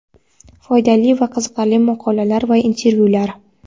Foydali va qiziqarli maqola va intervyular.